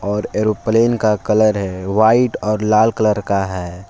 और एरोप्लेन का कलर है व्हाइट और लाल कलर का है।